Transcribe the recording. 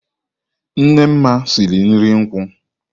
Nne Nma siri nri nkwu.